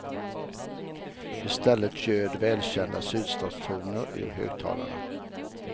I stället ljöd välkända sydstatstoner ur högtalarna.